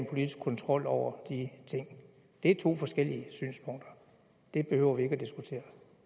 en politisk kontrol over de ting det er to forskellige synspunkter det behøver vi ikke at diskutere